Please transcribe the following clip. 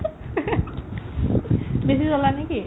বেছি জ্বলা নে কি ?